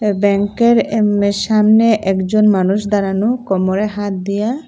এ ব্যাংকের এম্মের সামনে একজন মানুষ দাঁড়ানো কমরে হাত দিয়া।